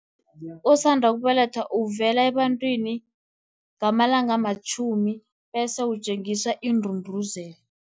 Osanda ukubelethwa uvela ebantwini, ngamalanga amatjhumi, bese utjengiswa indunduzela.